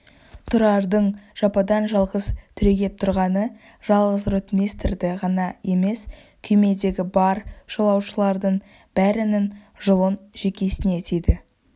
тұрардың жападан-жалғыз түрегеп тұрғаны жалғыз ротмистрді ғана емес күймедегі бар жолаушылардың бәрінің жұлын-жүйкесіне тиді